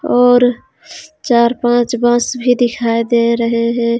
और चार पांच बस भी दिखाई दे रहे हे.